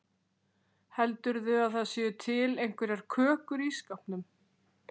Heldurðu að það séu til einhverjar kökur í skápnum?